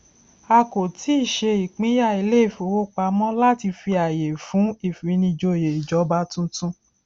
a kò tíì ṣe ìpínyà ilé ìfowópamọ láti fi àyè fún ìfinijòyè ìjọba tuntun